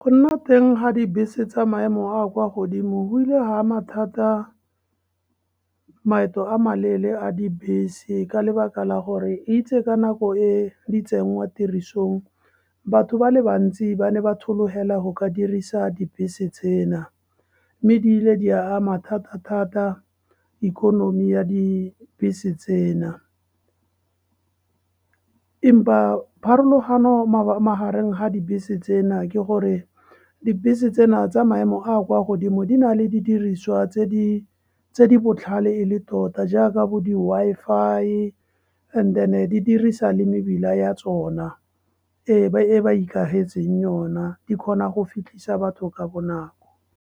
Go nna teng ga dibese tsa maemo a kwa godimo go ile ha ama thata maeto a maleele a dibese, ka lebaka la gore itse ka nako e di tsengwa tirisong, batho ba le bantsi ba ne ba tholohela go ka dirisa dibese tsena, mme ebile di ama thata-thata ikonomi ya dibese tsena. Empa pharologano magareng ga dibese tsena ke gore dibese tsena tsa maemo a kwa godimo di na le didiriswa tse di botlhale e le tota jaaka bo di-Wi-Fi and-e di dirisa le mebila ya tsona e ba ikagetseng yona, di kgona go fitlhisa batho ka bonako.